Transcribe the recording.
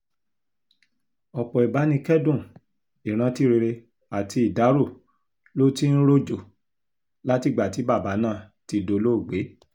ọ̀pọ̀ ìbánikẹ́dùn ìrántí rere àti ìdárò ló ti ń rojọ́ látìgbà tí bàbá náà ti dolóògbé